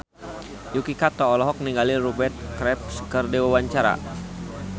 Yuki Kato olohok ningali Rupert Graves keur diwawancara